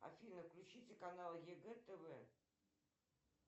афина включите канал егэ тв